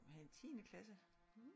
Og have en tiendeklasse